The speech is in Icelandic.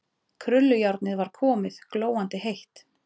Krullujárnið var komið, glóandi heitt.